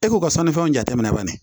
E k'o ka sannifɛnw jateminɛ banni